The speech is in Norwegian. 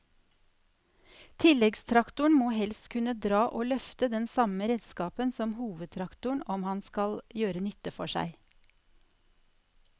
Tilleggstraktoren må helst kunne dra og løfte den samme redskapen som hovedtraktoren om han skal gjøre nytte for seg.